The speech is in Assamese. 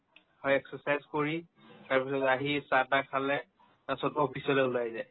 হয় exercise কৰি তাৰপিছত আহি চাহ-তাহ খালে তাৰপিছত office লে ওলাই যায়